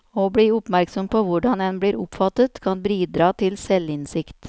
Å bli oppmerksom på hvordan en blir oppfattet, kan bidra til selvinnsikt.